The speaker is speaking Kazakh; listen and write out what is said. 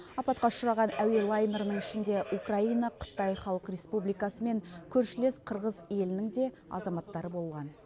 апатқа ұшыраған әуе лайнерінің ішінде украина қытай халық республикасы мен көршілес қырғыз елінің де азаматтары болған